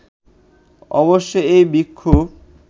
অবশ্য এই বিক্ষোভ